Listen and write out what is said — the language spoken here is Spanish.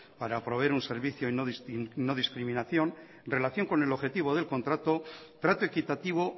para proveer un servicio de no discriminación relación con el objetivo del contrato trato equitativo